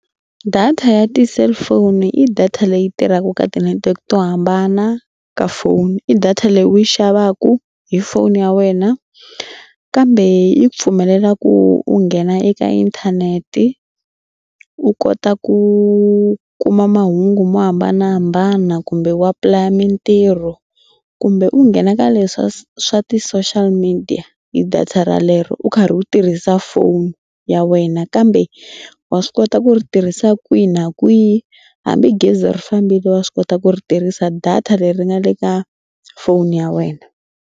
Data ya ti-cellphone i data leyi tirhaka ka ti-network to hambana ka foni. I data leyi u yi xavaku hi foni ya wena kambe yi pfumelelaku u nghena eka inthanete u kota ku kuma mahungu mo hambanahambana kumbe wu apply-a mitirho kumbe u nghena ka le swa swa ti-social media hi data ralero u karhi u tirhisa foni ya wena kambe wa swi kota ku ri tirhisa kwihi na kwihi hambi gezi ri fambile wa swi kota ku ri tirhisa data leri nga le ka foni ya wena.